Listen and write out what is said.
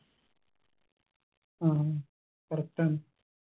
ആ correct ആണ്